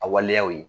A waleyaw ye